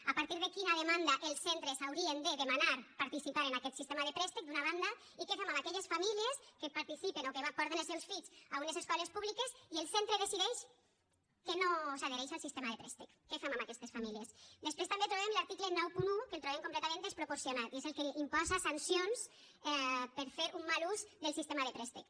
a partir de quina demanda els centres haurien de demanar participar en aquest sistema de préstec d’una banda i què fem amb aquelles famílies que participen o que porten els seus fills a unes escoles públiques i el centre decideix que no s’adhereix al sistema de préstec què fem amb aquestes famílies després també trobem l’article noranta un que el trobem completament desproporcionat i és el que imposa sancions per fer un mal ús del sistema de préstec